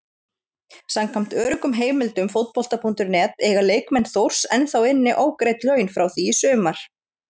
Samkvæmt öruggum heimildum Fótbolta.net eiga leikmenn Þórs ennþá inni ógreidd laun frá því í sumar.